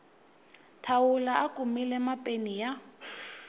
thawula a kumile mapeni ya